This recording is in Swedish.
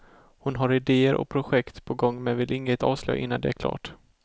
Hon har idéer och projekt på gång men vill inget avslöja innan det är klart.